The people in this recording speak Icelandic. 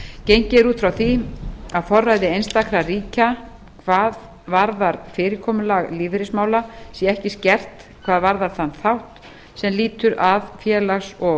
gengið er út frá því að forræði einstakra ríkja hvað varðar fyrirkomulag lífeyrismála sé ekki skert hvað varðar þann þátt sem lýtur að félags og